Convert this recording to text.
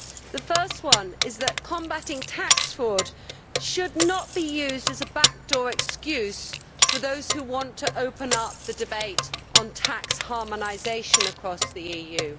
The first one is that combating tax fraud should not be used as a back door excuse for those who want to open up the debate on tax harmonisation across the EU.